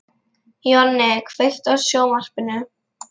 Jonni, kveiktu á sjónvarpinu.